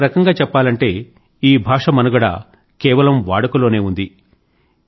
ఒక రకంగా చెప్పాలంటే ఈ భాష మనుగడ కేవలం వాడుకలోనే ఉంది